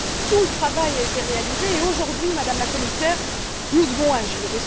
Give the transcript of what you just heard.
Tout le travail a été réalisé et, aujourd'hui, Madame la Commissaire, nous devons agir.